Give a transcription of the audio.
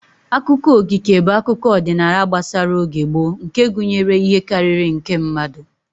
Akụkọ okike bụ akụkọ ọdịnala gbasara oge gboo nke gụnyere ihe karịrị nke mmadụ